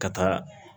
Ka taa